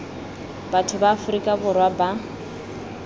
batho ba aforika borwa ba